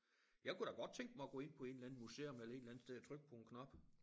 Jeg kunne da godt tænke mig at gå ind på en eller anden museum eller en eller anden sted og trykke på en knap